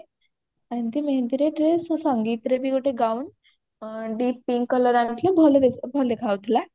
ଏମିତି ମେହେନ୍ଦୀରେ dress ସଙ୍ଗୀତରେ ବି ଗୋଟେ gown ଆଁ deep pink colour ଆଣିଥିଲେ ଭଲ ଭଲ ଦେଖା ଯାଉଥିଲା